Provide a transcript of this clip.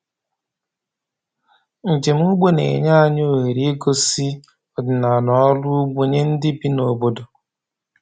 Njem ugbo na-enye anyị ohere igosi ọdịnala ọrụ ugbo nye ndị bi n’obodo.